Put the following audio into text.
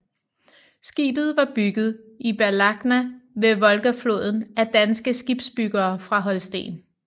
Skibet var bygget i Balakhna ved Volgafloden af danske skibsbyggere fra Holsten